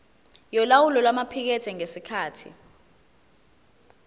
yolawulo lwamaphikethi ngesikhathi